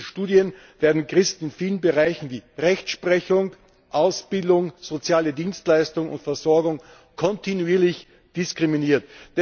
Nach jüngsten Studien werden Christen in vielen Bereichen wie Rechtsprechung, Ausbildung, soziale Dienstleistung und Versorgung kontinuierlich diskriminiert.